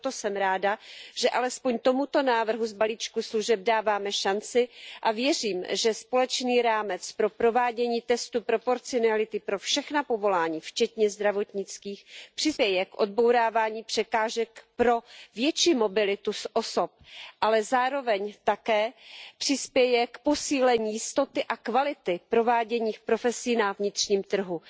Proto jsem ráda, že alespoň tomuto návrhu z balíčku služeb dáváme šanci, a věřím, že společný rámec pro provádění testu proporcionality pro všechna povolání, včetně zdravotnických, přispěje k odbourávání překážek pro větší mobilitu osob, ale zároveň také přispěje k posílení jistoty a kvality prováděných profesí na vnitřním trhu.